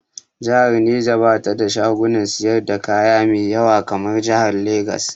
Jihar Neja ba ta da shagunan siyar da kaya mai ƴawa kamar jihar Legas.